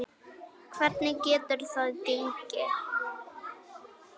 Hvernig getur það gengi?